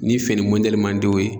Nin fini man di o ye.